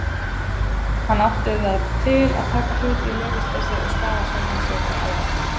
Hann átti það til að taka hluti í leyfisleysi og skaða sjálfan sig og aðra.